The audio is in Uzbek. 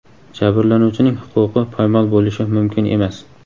Jabrlanuvchining huquqi poymol bo‘lishi mumkin emas.